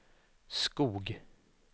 Skog